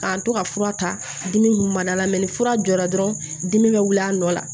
K'an to ka fura ta dimi kun ma ni fura jɔra dɔrɔn dimi bɛ wili a nɔ la